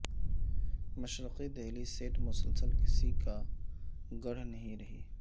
مشرقی دہلی سیٹ مسلسل کسی کا گڑھ نہیں رہی